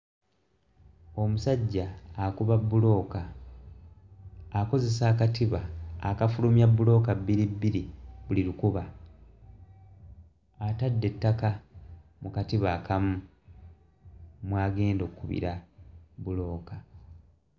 Omusajja akuba bbulooka akozesa akatiba akafulumya bbulooka bbiribbiri buli lukuba atadde ettaka mu katiba akamu mw'agenda okkubira bbulooka.